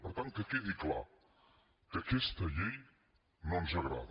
per tant que quedi clar que aquesta llei no ens agrada